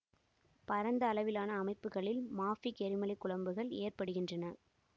பரந்த அளவிலான அமைப்புக்களில் மாஃபிக் எரிமலை குழம்புகள் ஏற்படுகின்றன